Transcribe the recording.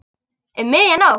Um miðja nótt?